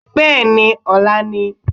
beeni! ọla ni